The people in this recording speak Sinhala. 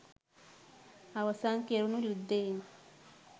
අවසන් කෙරුණු යුද්ධයෙන්